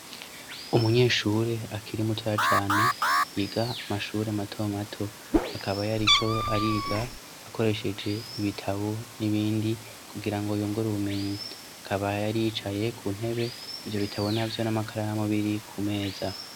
Umunyeshuri akiri mutoya cane yiga amashuri mato mato akaba yariko ariga akoresheje ibitabo n'ibindi kugirango yungure ubumenyi, akaba yari yicaye ku ntebe ivyo bitabo navyo n'amakaramu biri ku meza.